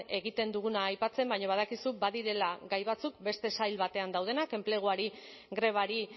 egiten duguna aipatzen baina badakizu badirela gai batzuk beste sail batean daudenak enpleguari grebari